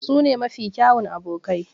Su ne mafi kyawun abokai.